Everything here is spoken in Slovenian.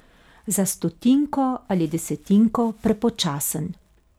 Za stotinko ali desetinko prepočasen.